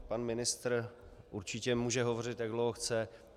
Pan ministr určitě může hovořit, jak dlouho chce.